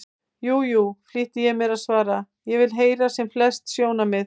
Jú, jú, flýti ég mér að svara, ég vil heyra sem flest sjónarmið.